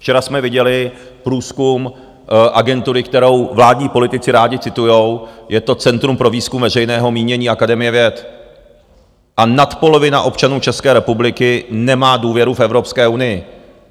Včera jsme viděli průzkum agentury, kterou vládní politici rádi citují, je to Centrum pro výzkum veřejného mínění Akademie věd, a nadpolovina občanů České republiky nemá důvěru v Evropskou unii.